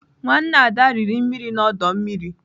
Nwanne Ada riri mmiri n'ọdọ mmiri.